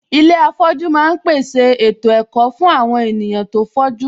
Ilé afọ̀jú ma ń pèsè ètò ẹ̀kọ́ fún àwon ènìyàn tó fọ́jú